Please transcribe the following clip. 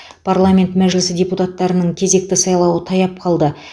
парламент мәжілісі депутаттарының кезекті сайлауы таяп қалды